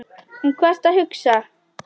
Um hvað ertu að hugsa?